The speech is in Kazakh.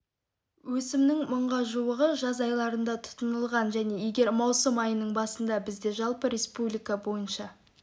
өсімнің мыңға жуығы жаз айларында тұтынылған және егер маусым айының басында бізде жалпы республика бойынша